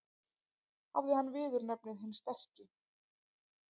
Hafði hann viðurnefnið hinn sterki.